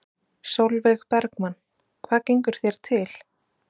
Sólveig Bergmann: Hvað gengur þér til?